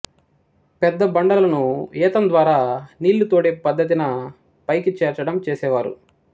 పెద్ద బండలను ఏతాం ద్వారా నీళ్ళు తోడే పద్ధతిన పైకి చేర్చడం చేసేవారు